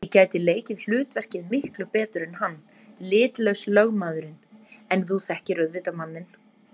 Ég gæti leikið hlutverkið miklu betur en hann- litlaus lögmaðurinn, en þú þekkir auðvitað manninn.